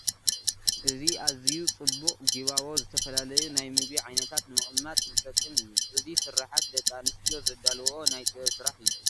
እዚ ኣዝዩ ፅቡቕ ጊባቦ ዝተፈላለዩ ናይ ምግቢ ዓይነታት ንምቕማጥ ዝጠቅም እዩ፡፡ እዚ ስርሓት ደቂ ኣንስትዮ ዘዳልውኦ ናይ ጥበብ ስራሕ እዩ፡፡